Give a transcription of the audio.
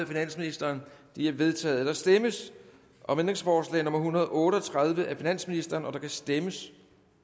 finansministeren de er vedtaget der stemmes om ændringsforslag nummer en hundrede og otte og tredive af finansministeren der kan stemmes